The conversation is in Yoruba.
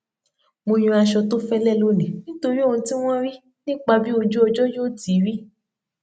mo yan àṣọ tó fẹlẹ lónìí nítorí ohun tí wọn rí nípa bí ojú ọjọ yó ti rí